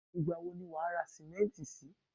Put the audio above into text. igba wo lo ma ra simẹnti sí